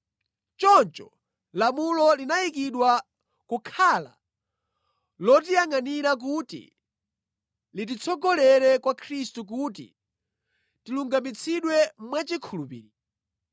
Choncho lamulo linayikidwa kukhala lotiyangʼanira kuti lititsogolere kwa Khristu kuti tilungamitsidwe mwachikhulupiriro.